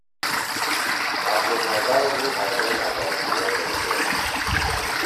Na from my Bible I learn about word of God.